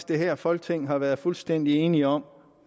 det her folketing har været fuldstændig enige om